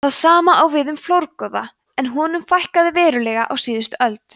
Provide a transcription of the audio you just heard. það sama á við um flórgoða en honum fækkaði verulega á síðustu öld